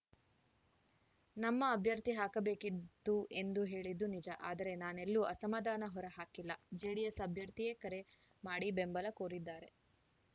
ನಮ್ಮ ಅಭ್ಯರ್ಥಿ ಹಾಕಬೇಕಿದ್ದು ಎಂದು ಹೇಳಿದ್ದು ನಿಜ ಆದರೆ ನಾನೆಲ್ಲೂ ಅಸಮಾಧಾನ ಹೊರ ಹಾಕಿಲ್ಲ ಜೆಡಿಎಸ್‌ ಅಭ್ಯರ್ಥಿಯೇ ಕರೆ ಮಾಡಿ ಬೆಂಬಲ ಕೋರಿದ್ದಾರೆ